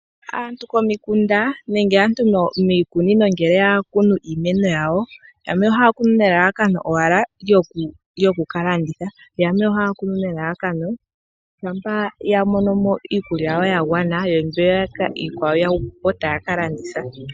Aantu komikunda nenge aantu miikunino, ngele ya kunu iimeno yawo, yamwe ohaya kunu nelalakano owala lyoku ka landitha. Yamwe ohaya kunu nelalakano, shampa ya mono mo iikulya yawo ya gwana, yo mbiyaka iikwawo ya hupu po, taya ka landitha.